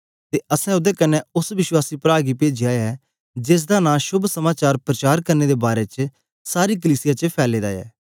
ते असैं ओदे कन्ने ओस विश्वासी प्रा गी पेजया ऐ जेसदा नां शोभ समाचार प्रचार करने दे बारै च सारी कलीसिया च फैले दा ऐ